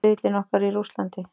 Riðillinn okkar í Rússlandi.